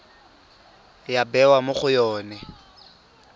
ya bewa mo go yone